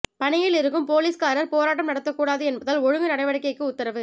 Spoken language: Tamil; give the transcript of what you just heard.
பணியில் இருக்கும் போலீஸ்காரர் போராட்டம் நடத்தக்கூடாது என்பதால் ஒழுங்கு நடவடிக்கைக்கு உத்தரவு